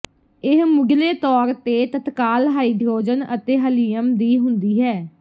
ਇਹ ਮੁਢਲੇ ਤੌਰ ਤੇ ਤੱਤਕਾਲ ਹਾਈਡਰੋਜਨ ਅਤੇ ਹਲੀਅਮ ਦੀ ਹੁੰਦੀ ਹੈ